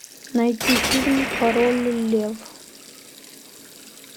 найти фильм король лев